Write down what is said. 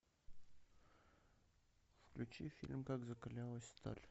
включи фильм как закалялась сталь